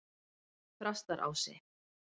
Þrastarási